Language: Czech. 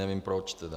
Nevím proč tedy.